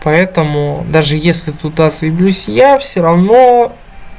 поэтому даже если туда зайду если я все равно